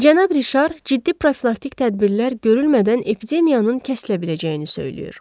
Cənab Rişar ciddi profilaktik tədbirlər görülmədən epidemiyanın kəsilə biləcəyini söyləyir.